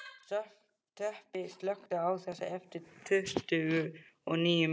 Tobbi, slökktu á þessu eftir tuttugu og níu mínútur.